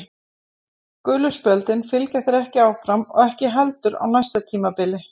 Gulu spjöldin fylgja þér ekki áfram og ekki heldur á næsta tímabili.